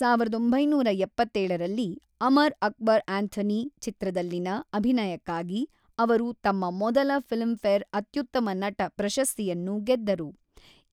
ಸಾವಿರದ ಒಂಬೈನೂರ ಎಪ್ಪತೇಳರಲ್ಲಿ, ಅಮರ್ ಅಕ್ಬರ್ ಆಂಥೋನಿ ಚಿತ್ರದಲ್ಲಿನ ಅಭಿನಯಕ್ಕಾಗಿ ಅವರು ತಮ್ಮ ಮೊದಲ ಫಿಲ್ಮ್ ಫೇರ್ ಅತ್ಯುತ್ತಮ ನಟ ಪ್ರಶಸ್ತಿಯನ್ನು ಗೆದ್ದರು;